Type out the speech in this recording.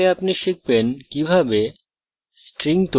in tutorial আপনি শিখবেন কিভাবে